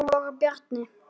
Þeir voru Bjarni